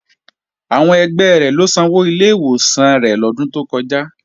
Ẹgbẹ́ rẹ̀ ló sanwó ilé ìwòsàn rẹ̀ lọ́dún tó kọjá